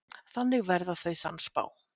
Þannig verða þau sannspá.